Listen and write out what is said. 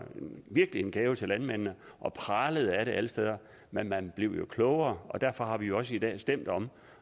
en gave til landmændene og pralede af det alle steder men man blev jo klogere og derfor har vi jo også i dag stemt om